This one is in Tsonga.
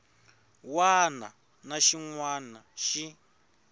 wana na xin wana xi